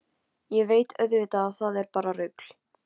Ég veit auðvitað að það er bara rugl.